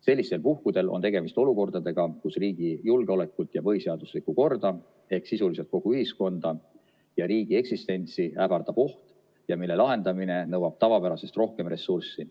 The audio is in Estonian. Sellistel puhkudel on tegemist olukordadega, kus riigi julgeolekut ja põhiseaduslikku korda ehk sisuliselt kogu ühiskonda ja riigi eksistentsi ähvardab oht ja mille lahendamine nõuab tavapärasest rohkem ressurssi.